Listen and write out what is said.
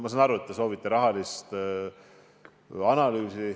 Ma saan aru, et te soovite rahalist analüüsi.